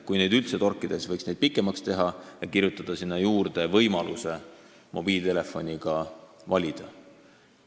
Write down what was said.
Kui neid üldse torkida, siis võiks seda aega pikemaks teha ja kirjutada sinna juurde võimaluse mobiiltelefoniga valida.